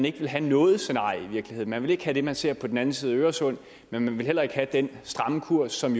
ikke vil have noget scenarie man vil ikke have det man ser på den anden side af øresund men man vil heller ikke have den stramme kurs som